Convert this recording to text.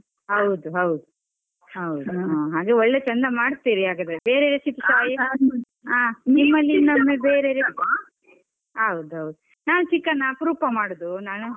ಹೌದು ಹೌದು ಹೌದು, ಹಾಗೆ ಒಳ್ಳೆ ಚಂದ ಮಾಡ್ತಿರಿ ಹಾಗಾದ್ರೆ, ಬೇರೆ recipe ಸ ಹೌದು ಹೌದು ನಾನ್ chicken ಅಪರೂಪ ಮಾಡುದು ನಾನು.